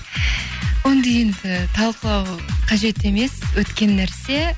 оны енді талқылау қажет емес өткен нәрсе